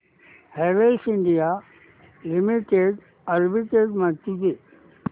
Havells India limited arbitrage माहिती दे